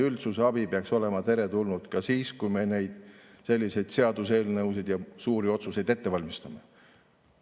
Üldsuse abi peaks olema teretulnud ka siis, kui me selliseid seaduseelnõusid ja suuri otsuseid ette valmistame.